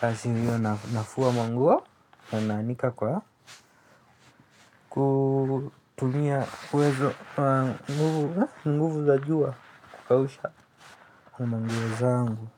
Kasi hiyo nafua manguo, na naanika kwa. Ku tumia uwezo wa nguvu nguvu za jua kukausha na manguo zangu.